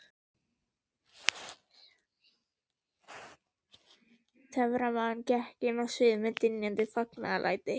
Töframaðurinn gekk inn á sviðið við dynjandi fagnaðarlæti.